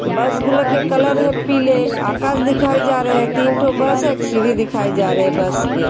बस बुला के कलर हैं पीले अकाश दिखाये जा रहे हैं| तीन ठो बस हैं| एक सीरी दिखाये जा रहे बस के ।